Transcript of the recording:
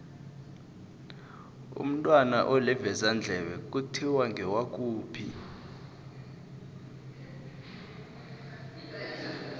umntwana olivezandlebe kuthiwa ngewakuphi